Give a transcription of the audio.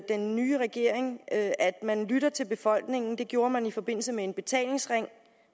den nye regering at at man lytter til befolkningen det gjorde man i forbindelse med en betalingsring